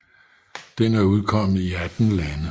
Den er udkommet i 18 lande